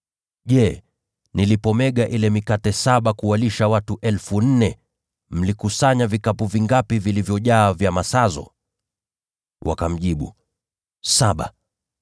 “Je, nilipoimega ile mikate saba kuwalisha watu 4,000, mlikusanya vikapu vingapi vilivyojaa vya masazo?” Wakamjibu, “Saba.”